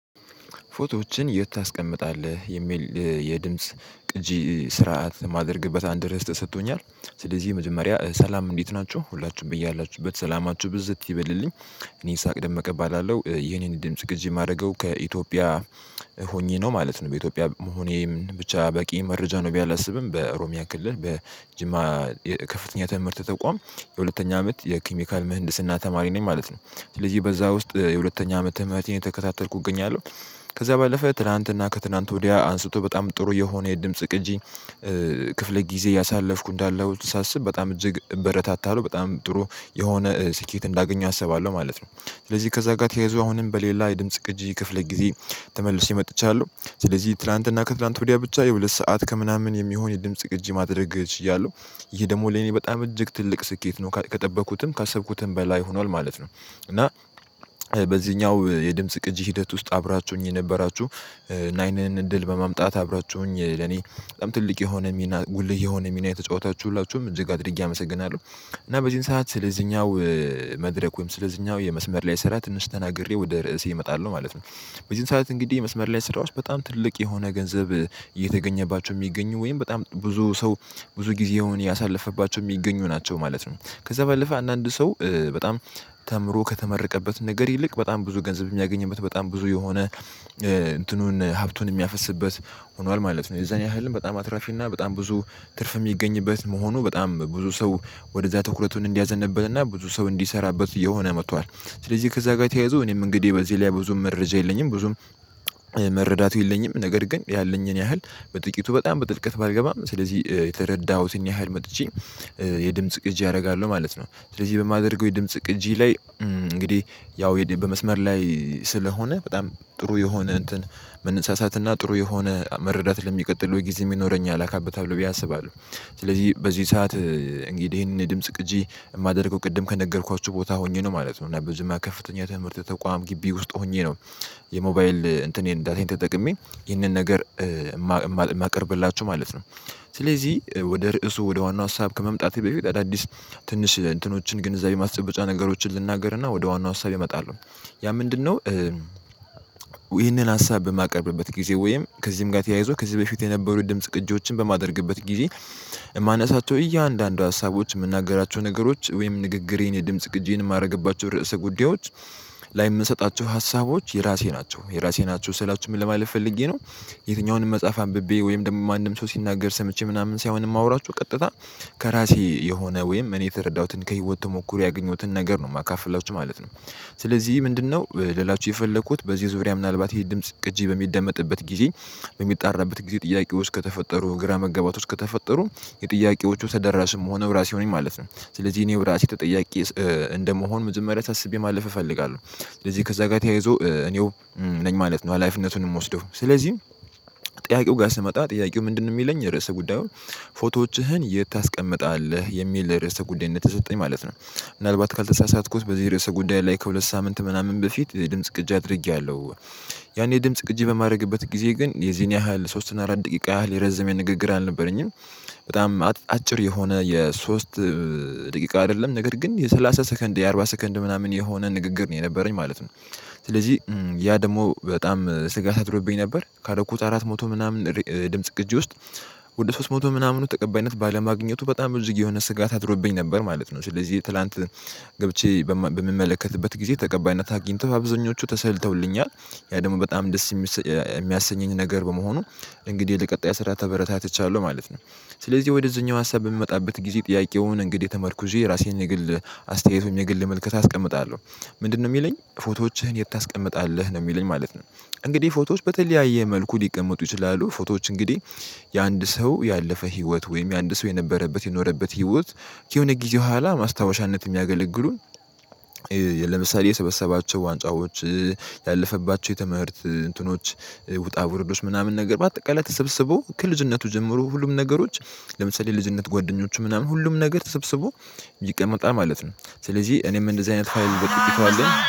ፎቶዎችን የት ታስቀምጣለህ? የሚል የድምጽ ቅጂ ስርዓት የማደርግበት አንድ ርዕስ ሰጥቶኛል ስለዚህ መጀመሪያ ሰላም እንዴት ናቸው ሁላችሁም በያላችሁበት ሰላማችሁ ብዝት ይበልልኝ። እኔ ይስሐቅ ደመቀ እባላለው የኔን ድምጽ ግጅ የማደርገው ከኢትዮጵያ ሆኜ ነው ማለት ነው። በኢትዮጵያ መሆኔም ብቻ በቂ መረጃ ነው። ቢያላስብም በኦሮምያ ክልል በጅማ ከፍተኛ ተምህርት ተቋም የሁለተኛ አመት የኬሚካል ምህንድስና ተማሪ ነኝ ማለት ነው። ስለዚህ በዛ ውስጥ የሁለተኛ አመት ትምርቴን እየተከታተልኩ እገኛለሁ። ከዛ ባለፈ ትላንትና ከትላንት ወዲያ አንስቶ በጣም ጥሩ የሆነ የድምጽ ቅጂ። ክፍለ ጊዜ ያሳለፍኩ እንዳለሁ ሳስብ በጣም እጅግ እበረታታለሁ በጣም ጥሩ የሆነ ስኬት እንዳገኘ አሰባለሁ ማለት ነው። ስለዚህ ከዛ ጋር ተያይዞ አሁንም በሌላ የድምጽ ቅጂ ክፍል ጊዜ ተመልሼ መጥቻለሁ። ስለዚህ ትላንትና ከትላንት ወዲያ ብቻ የሁለት ሰዓት ከምናምን የሚሆን የድምጽ ቅጂ ማድረግ እችላለሁ። ይሄ ደግሞ ለኔ በጣም እጅግ ትልቅ ስኬት ነው ከጠበቅኩትም ካሰብኩትም በላይ ሆኗል ማለት ነው። እና በዚህኛው የድምጽ ቅጂ ሂደት ውስጥ አብራችሁኝ የነበራችሁ እና ይህንን እንድል በማምጣት አብራችሁኝ ለኔ በጣም ትልቅ የሆነ ሚና ጉልህ የሆነ ሚና የተጫወታችሁ ሁላችሁም እጅግ አድርጌ አመሰግናለሁ። እና በዚህን ሰዓት ስለዚህኛው መድረክ ወይም ስለዚህኛው የመስመር ላይ ስራ ትንሽ ተናግሬ ወደ ርዕስዬ እመጣለሁ ማለት ነው። በዚህን ሰዓት እንግዲህ የመስመር ላይ ስራዎች በጣም ትልቅ የሆነ ገንዘብ እየተገኘባቸው የሚገኙ ወይም በጣም ብዙ ሰው ብዙ ጊዜውን እያሳለፈባቸው የሚገኙ ናቸው ማለት ነው። ከዛ ባለፈ አንዳንድ ሰው በጣም ተምሮ ከተመረቀበት ነገር ይልቅ በጣም ብዙ ገንዘብ የሚያገኝበት በጣም ብዙ የሆነ እንትኑን ሀብቱን የሚያፈስብበት ሆኗል ማለት ነው የዛን ያህል በጣም አትራፊ እና በጣም ብዙ ትርፍ የሚገኝበት መሆኑ በጣም ብዙ ሰው ወደዛ ትኩረቱን እንዲያዘነብልና ብዙ ሰው እንዲሰራበት እየሆነ መጥቷል። ስለዚህ ከዛ ጋር ተያይዞ እኔም እንግዲህ በዚህ ላይ ብዙም መረጃ የለኝም ብዙም መረዳቱ የለኝም ነገር ግን ያለኝን ያህል በጥቂቱ በጣም በጥልቀት ባልገባም ስለዚህ የተረዳሁትን ያህል መጥቼ። የድምጽ ቅጂ አደርጋለሁ ማለት ነው። ስለዚህ በማደርገው የድምጽ ቅጂ ላይ እንግዲህ ያው በመስመር ላይ ስለሆነ በጣም ጥሩ የሆነ እንትን መነሳሳትና ጥሩ የሆነ መረዳት ለሚቀጥለው ጊዜ የሚኖረኝ አካብታለሁ ብዬ አስባለሁ። ስለዚህ በዚህ ሰዓት እንግዲህ ይሄንን የድምጽ ቅጂ የማደርገው ቅድም ከነገርኳችሁ ቦታ ሆኜ ነው ማለት ነው። እና በጅማ ከፍተኛ ትምህርት ተቋም ግቢ ውስጥ ሆኜ ነው። የሞባይል እንትኔን ዳታየን ተጠቅሜ ይህንን ነገር የማቀርብላችሁ ማለት ነው። ስለዚህ ወደ ርዕሱ ወደ ዋናው ሀሳብ ከመምጣቴ በፊት አዳዲስ ትንሽ እንትኖችን ግንዛቤ ማስጨበጫ ነገሮችን ልናገርና ወደ ዋናው ሀሳቤ እመጣለሁ። ያ ምንድነው? ይህንን ሀሳብ በማቀርብበት ጊዜ ወይም ከዚህም ጋር ተያይዞ ከዚህ በፊት የነበሩ ድምጽ ቅጂዎችን በማደርግበት ጊዜ የማነሳቸው እያንዳንዱ ሀሳቦች የምናገራቸው ነገሮች ወይም ንግግሬን የድምጽ ግጄን የማደርግባቸው ርዕሰ ጉዳዮች ላይ የምሰጣቸው ሀሳቦች የራሴ ናቸው የራሴ ናቸው ስላችሁም ለማለት ፈልጌ ነው። የትኛውንም መጽሐፍ አንብቤ ወይም ደግሞ ማንም ሰው ሲናገር ሰምቼ ምናምን ሳይሆን የማወራችሁ ቀጥታ ከራሴ የሆነ ወይም እኔ የተረዳሁትን ከህይወት ተሞክሮ ያገኘሁትን ነገር ነው የማካፍላችሁ ማለት ነው። ስለዚህ ምንድነው ልላችሁ የፈለኩት በዚህ ዙሪያ ምናልባት ይሄ ድምጽ ቅጂ በሚደመጥበት ጊዜ በሚጣራበት ጊዜ ጥያቄው ውስጥ ከተፈጠሩ ግራ መጋባት ውስጥ ከተፈጠሩ የጥያቄዎቹ ተደራሽም ምሆነው ራሴው ነኝ ማለት ነው። ስለዚህ እኔው ራሴ ተጠያቂ እንደመሆን መጀመሪያ አሳስቤ ማለፍ እፈልጋለሁ። ስለዚህ ከዛ ጋር ተያይዞ እኔው ነኝ ማለት ነው ሀላፊነቱንም የምወስደው ስለዚህ። ጥያቄው ጋር ስመጣ ጥያቄው ምንድነው? የሚለኝ ርዕሰ ጉዳዩን ፎቶዎችህን የት ታስቀምጣለህ የሚል ለርዕሰ ጉዳይ ነው የተሰጠኝ ማለት ነው። ምናልባት ካልተሳሳትኩት በዚህ ርዕሰ ጉዳይ ላይ ከሁለት ሳምንት ምናምን በፊት የድምጽ ቅጅ አድርጌያለሁ። ያኔ ድምጽ ቅጂ በማድረግበት ጊዜ ግን የዚህን ያህል ሶስት አራት ደቂቃ ያህል የረዘመ የንግግር አልነበረኝም። በጣም አጭር የሆነ የሶስት ደቂቃ አይደለም ነገር ግን የሰላሳ ሰከንድ የአርባ ሰከንድ ምናምን የሆነ ንግግር ነው የነበረኝ ማለት ነው። ስለዚህ ያ ደግሞ በጣም ስጋት አድሮብኝ ነበር ካረኩ ቁጥ አራት መቶ ምናምን ድምጽ ቅጅ ውስጥ ወደ ሶስት መቶ ምናምኑ ተቀባይነት ባለማግኘቱ በጣም ብዙ የሆነ ስጋት አድሮብኝ ነበር ማለት ነው። ስለዚህ ትላንት ገብቼ በምመለከትበት ጊዜ ተቀባይነት አግኝተው አብዛኞቹ ተሰልተውልኛል። ያ ደግሞ በጣም ደስ የሚያሰኘኝ ነገር በመሆኑ እንግዲህ ለቀጣይ ስራ ተበረታትቻለሁ ማለት ነው። ስለዚህ ወደዚህኛው ሀሳብ በምመጣበት ጊዜ ጥያቄውን እንግዲህ ተመርኩዤ የራሴን የግል አስተያየት የግል ምልከታ አስቀምጣለሁ። ምንድነው የሚለኝ ፎቶዎችህን የት ታስቀምጣለህ ነው የሚለኝ ማለት ነው። እንግዲህ ፎቶዎች በተለያየ መልኩ ሊቀመጡ ፎቶዎች እንግዲህ። የአንድ ሰው ያለፈ ህይወት ወይም የአንድ ሰው የነበረበት የኖረበት ህይወት ከሆነ ጊዜው ኋላ ማስታወሻነት የሚያገለግሉን። ለምሳሌ የሰበሰባቸው ዋንጫዎች። ያለፈባቸው የትምህርት እንትኖች ውጣ ውርዶች ምናምን ነገር በአጠቃላይ ተሰብስበው ከልጅነቱ ጀምሩ ሁሉም ነገሮች። ለምሳሌ ልጅነት ጓደኞቹ ምናምን ሁሉም ነገር ተሰብስቦ ይቀመጣል ማለት ነው። ስለዚህ እኔም እንደዚህ አይነት ፋይል በጥቂቱ አለኝ